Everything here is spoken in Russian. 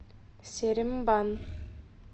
серембан